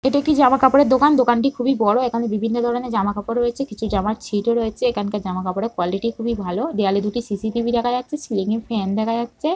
এটা কি জামা কাপড়ের দোকান। দোকানটি খুবই বড় এখানে বিভিন্ন ধরনের জামা কাপড় রয়েছে কিছু জামার ছিটও রয়েছে এখানকার জামা কাপড়ের কোয়ালিটি খুবই ভালো দেয়ালে দুটি সি.সি.টি.ভি. দেখা যাচ্ছে সিলিং -এ ফ্যান দেখা যাচ্ছে।